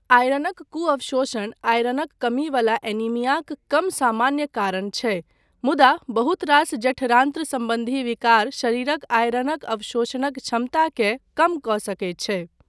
आयरनक कुअवशोषण आयरनक कमी वला एनीमियाक कम सामान्य कारण छै, मुदा बहुतरास जठरान्त्र सम्बन्धी विकार शरीरक आयरनक अवशोषणक क्षमताकेँ कम कऽ सकैत छै।